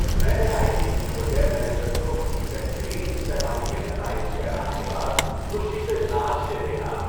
میں نے I T C hotel manager کو ان کی بہترین سہ ماہی کے نتائج کے اعلان کے بعد خوشی سے ناچتے دیکھا۔